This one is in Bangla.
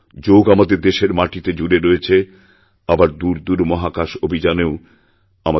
যোগ আমাদের দেশের মাটিতে জুড়েরয়েছে আবার দূর দূর মহাকাশ অভিযানেও আমাদের